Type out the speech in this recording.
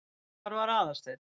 Hvar var Aðalsteinn?